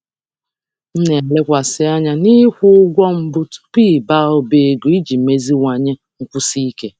M na-elekwasị anya n'ịkwụ ụgwọ mbụ tupu ịba ụba ego iji meziwanye nkwụsi ike.